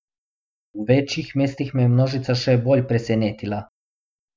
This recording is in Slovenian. V večjih mestih me je množica še bolj presenetila.